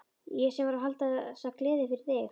Ég sem var að halda þessa gleði fyrir þig!